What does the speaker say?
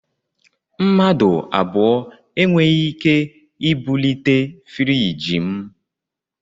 Mmadụ abụọ e nweghị ike ibulite friiji m